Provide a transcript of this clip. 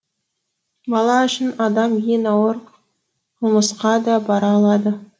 бала үшін адам ең ауыр қылмысқа да бара алады